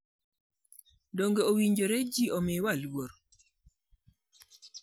Donge owinjore ji omiwa luor?